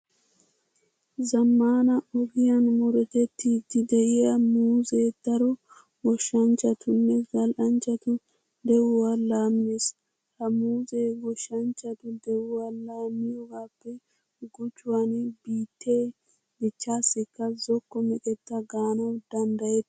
Zammaana ogiyan murutettiiddi de'iya muuzee daro goshshanchchatunne zal"anchchatu de'uwa laammiis. Ha muuzee goshshanchchatu de'uwa laammiyogaappe gujuwan biittee dichchaassikka zokko meqetta gaanawu danddayettees.